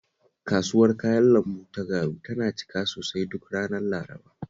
Kasuwar kayan lambu ta Garu tana cika sosai duk ranar Laraba